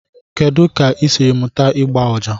Kedu ka ị siri mụta ịgba ọjà?